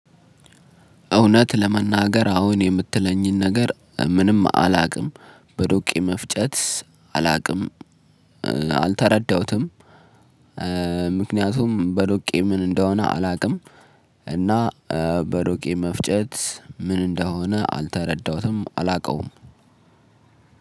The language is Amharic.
እውነት ለመናገር አሁን የምትለኝን ነገር ምንም አላቅም በዶቄ መፍጨት አላቅም አልተረዳሁትም። ምክንያቱም በዶቄ ምን እንደሆነ አላቅም። እና በዶቄ መፍጨት ምን እንደሆነ አልተረዳሁትም አላቀውም።